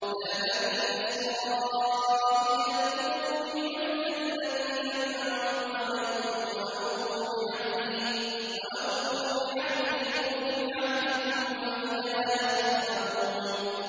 يَا بَنِي إِسْرَائِيلَ اذْكُرُوا نِعْمَتِيَ الَّتِي أَنْعَمْتُ عَلَيْكُمْ وَأَوْفُوا بِعَهْدِي أُوفِ بِعَهْدِكُمْ وَإِيَّايَ فَارْهَبُونِ